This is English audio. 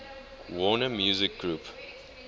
warner music group